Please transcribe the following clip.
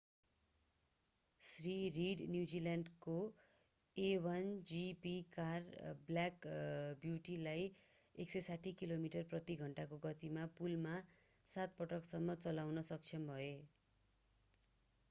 Shri Reid न्युजिल्यान्डको a1gp car black ब्युटीलाई 160 kilometre प्रति घण्टाको गतिमा पुलमा सात पटकसम्म चलाउन सक्षम भए